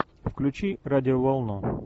включи радиоволну